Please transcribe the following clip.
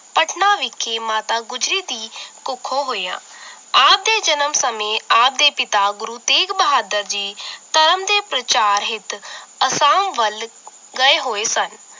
ਪਟਨਾ ਵਿਖੇ ਮਾਤਾ ਗੁਜਰੀ ਦੀ ਕੁੱਖੋਂ ਹੋਇਆ ਆਪ ਦੇ ਜਨਮ ਸਮੇਂ ਆਪ ਦੇ ਪਿਤਾ ਗੁਰੂ ਤੇਗ ਬਹਾਦਰ ਜੀ ਧਰਮ ਦੇ ਪ੍ਰਚਾਰ ਹਿੱਤ ਅਸਾਮ ਵੱਲ ਗਏ ਹੋਏ ਸਨ